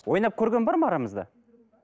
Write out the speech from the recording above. ойнап көрген бар ма арамызда